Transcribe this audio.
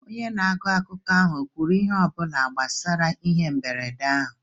Onye na-agụ akụkọ ahụ ekwuru ihe ọ bụla gbasara ihe mberede ahụ?